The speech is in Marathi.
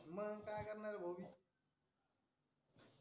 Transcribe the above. मग काय करणार भाऊ